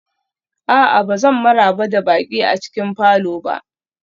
A'a, ba zan maraba da baƙi a cikin falor ba